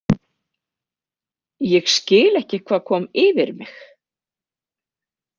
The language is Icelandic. Ég skil ekki hvað kom yfir mig.